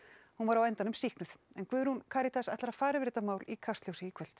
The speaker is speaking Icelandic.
hún var á endanum sýknuð Guðrún Karítas ætlar að fara yfir þetta mál í Kastljósi í kvöld